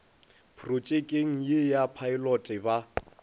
protšekeng ye ya phaelote ba